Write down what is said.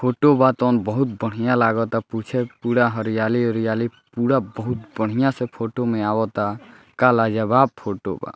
Photo बा तवन बहुत बढ़िया लागता पीछे पुरा हरियाली ओरियली पुरा बहुत बढ़िया से फोटो में अवता का लाजवाब फोटो बा।